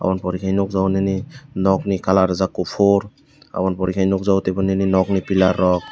oboni pore khe nukjakgo nini nok ni colour rijak kuphur aboni pore khe nukjakgo nini nokni pillar rok.